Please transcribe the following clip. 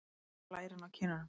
Ekki blærinn á kinnunum.